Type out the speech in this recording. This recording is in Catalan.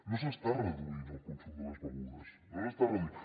no s’està reduint el consum de les begudes no s’està reduint